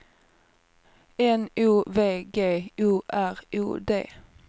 N O V G O R O D